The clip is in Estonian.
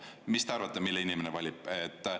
Mis te arvate, mille inimene valib?